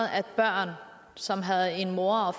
at børn som har en mor